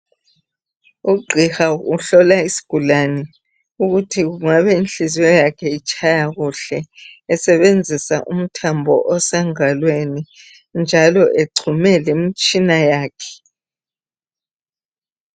Ugwiha uhlola isgula ukuthi kungabe inhliziyo zakhe itshaya kuhle esebenzisa umthambo osengalwenj yakhe njalo egxume lemitshina yakhe